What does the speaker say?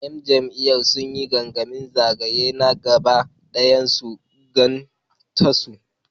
‘Yan jam’iyyar sun yi gangamin zagaye na gaba dayan Gwan Tasu.